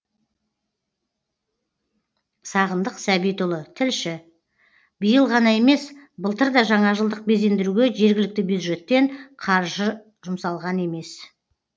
сағындық сәбитұлы тілші биыл ғана емес былтыр да жаңажылдық безендіруге жергілікті бюджеттен қаржы жұмсалған емес